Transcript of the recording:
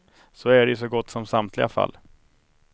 Så är det i så gott som samtliga fall.